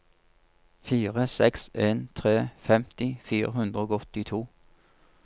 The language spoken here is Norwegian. fire seks en tre femti fire hundre og åttito